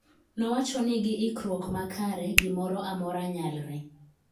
nowachoni gi ikkruok makare gi moro amora nyalre